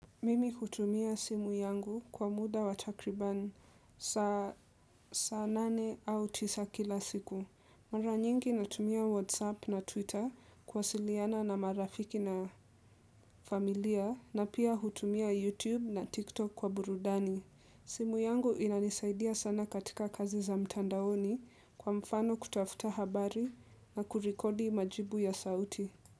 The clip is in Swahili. Mimi hutumia simu yangu kwa muda wa takribani saa nane au tisa kila siku. Mara nyingi natumia WhatsApp na Twitter kuwasiliana na marafiki na familia na pia hutumia YouTube na TikTok kwa burudani. Simu yangu inanisaidia sana katika kazi za mtandaoni kwa mfano kutafuta habari na kurikodi majibu ya sauti.